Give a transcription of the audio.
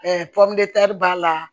b'a la